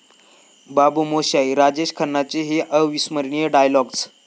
बाबू मोशाय...'राजेश खन्नांचे हे अविस्मरणीय डायलॉग्ज